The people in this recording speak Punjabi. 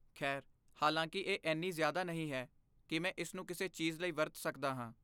ਖੈਰ, ਹਾਲਾਂਕਿ ਇਹ ਐਨੀ ਜ਼ਿਆਦਾ ਨਹੀਂ ਹੈ ਕੀ ਮੈਂ ਇਸਨੂੰ ਕਿਸੇ ਚੀਜ਼ ਲਈ ਵਰਤ ਸਕਦਾ ਹਾਂ